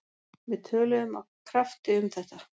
Við töluðum af krafti um þetta.